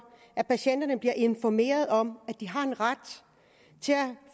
at patienterne bliver informeret om at de har ret til at